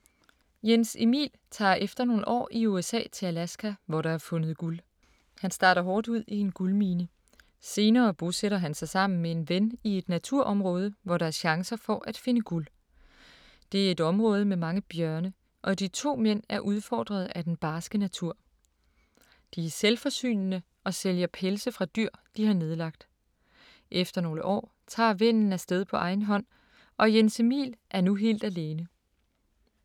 Jens Emil tager efter nogle år i USA til Alaska, hvor der er fundet guld. Han starter hårdt ud i en guldmine. Senere bosætter han sig sammen med en ven i et naturområde, hvor der er chancer for at finde guld. Det er et område med mange bjørne, og de to mænd er udfordret af den barske natur. De er selvforsynende og sælger pelse fra dyr, de har nedlagt. Efter nogle år tager vennen afsted på egen hånd, og Jens Emil er nu helt alene